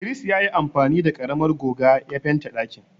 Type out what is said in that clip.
Idris ya yi amfani da karamar goga ya fente ɗakin.